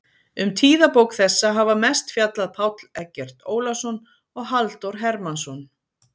Um tíðabók þessa hafa mest fjallað Páll Eggert Ólason og Halldór Hermannsson.